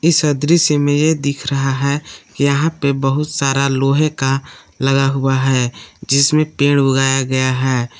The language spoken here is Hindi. इस दृश्य में ये दिख रहा है कि यहां पे बहुत सारा लोहे का लगा हुआ है जिसमें पेड़ उगाया गया है।